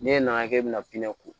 N'e nana k'e bɛna pinɛ ko